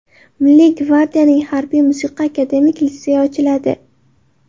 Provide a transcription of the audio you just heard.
Milliy gvardiyaning Harbiy-musiqa akademik litseyi ochiladi.